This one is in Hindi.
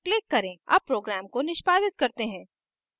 अब program को निष्पादित करते हैं